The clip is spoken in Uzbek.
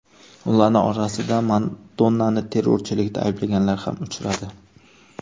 Ularning orasida Madonnani terrorchilikda ayblaganlar ham uchradi.